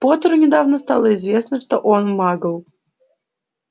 поттеру недавно стало известно что он магл